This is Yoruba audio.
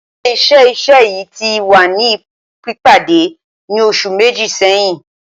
Ile Iṣẹ-iṣẹ yii ti wa ni pipade ni oṣu meji sẹhin